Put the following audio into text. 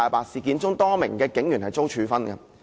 事件中，多名警員遭處分。